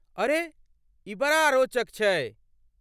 अरे, ई बड़ा रोचक छै।